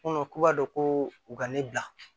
k'u b'a dɔn ko u ka ne bila